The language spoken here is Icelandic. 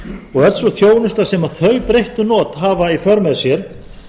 og öll sú þjónusta sem þau breyttu not hafa í för með sér